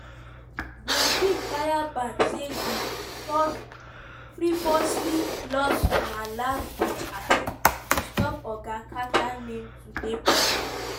buzbee fire back say di "frivolous" lawsuit na "last-ditch attempt" to stop oga carter name to dey public.